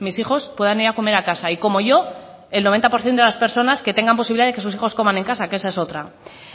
mis hijos puedan ir a comer a casa y como yo el noventa por ciento de las personas que tengan posibilidad de que sus hijos coman en casa que esa es otra